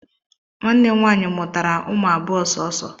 Nwanne m nwaanyị mụtara ụmụ abụọ sọọsọ